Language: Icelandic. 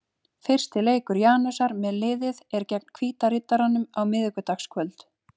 Fyrsti leikur Janusar með liðið er gegn Hvíta Riddaranum á miðvikudagskvöld.